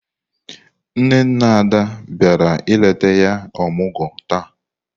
Nne nne Ada biara ileta ya omugwo taa.